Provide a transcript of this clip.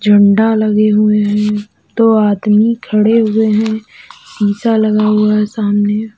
झंडा लगे हुए हैं। दो आदमी खड़े हुए हैं। शीशा लगा हुआ है सामने।